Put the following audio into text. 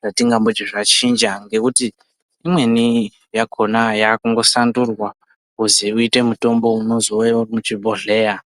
zvatingamboti zvachinja ngekuti imweni yakhona yakungosandurwa kuzi izove mitombo yemuzvibhodhleya.